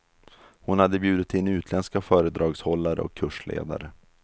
Hon hade bjudit in utländska föredragshållare och kursledare.